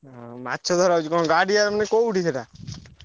ଓ ମାଛ ଧରା ହଉଛି କଣ ଗାଡିଆ ମାନେ କୋଉଠି ସେଇଟା?